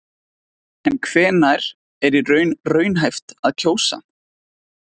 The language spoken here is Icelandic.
En hvenær er í raun raunhæft að kjósa?